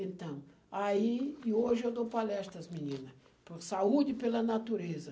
Então, aí, e hoje eu dou palestras, menina, por saúde e pela natureza.